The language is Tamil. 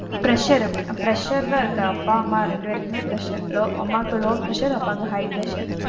Pressure இருக்கு, pressure தான் இருக்கு. அப்பா, அம்மா ரெண்டு பேருக்குமே pressure, low அம்மாக்கு low pressure அப்பாக்கு high pressure.